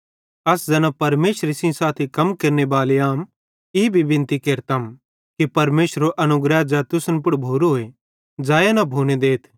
अस ज़ैना परमेशरे सेइं साथी कम केरनेबाले आम ई भी बिनती केरतम कि परमेशरेरो अनुग्रह ज़ै तुसन पुड़ भोरोए ज़ैया न भोने देथ